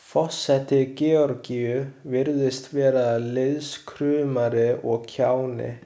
Forseti Georgíu virðist vera lýðskrumari og kjáni.